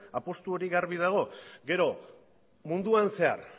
apustu hori garbi dago gero munduan zehar